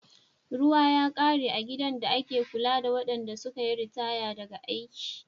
Ruwa ya kare a gidan da ake kula da waɗanda suka yi ritaya daga aiki.